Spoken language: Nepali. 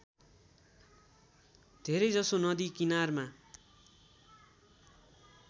धेरैजसो नदी किनारमा